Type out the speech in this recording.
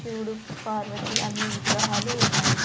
శివుడు పార్వతి అన్ని విగ్రహాలు ఉన్నాయి.